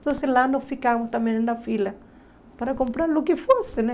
Então, lá nós ficávamos também na fila para comprar o que fosse, né?